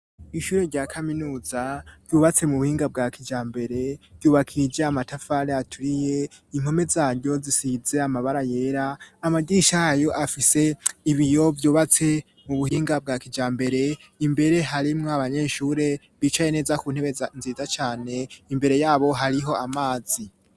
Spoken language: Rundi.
Ishure rya kaminuza ryubatse mu buhinga bwa kijambere, ryubakije amatafari aturiye impome zaryo zisize amabara yera, amadirisha yay'afise ibiyo vyubatse mu buhinga bwa kijambere, imbere harimwo abanyeshure bicaye neza ku ntebe nziza cane imbere yabo hariho amazi.